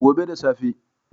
Gobe da safe